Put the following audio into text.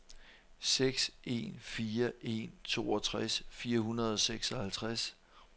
seks en fire en toogtres fire hundrede og seksoghalvtreds